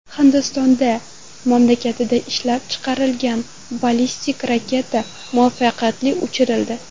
Hindistonda mamlakatda ishlab chiqarilgan ballistik raketa muvaffaqiyatli uchirildi.